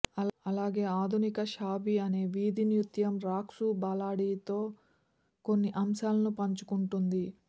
అలాగే ఆధునిక షాబి అనే వీధి నృత్యం రాక్సు బాలాడితో కొన్ని అంశాలను పంచుకుంటుంది